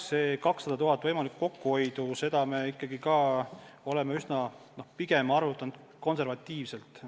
See 200 000 eurot võimalikku kokkuhoidu – see on ikkagi pigem konservatiivne arvutus.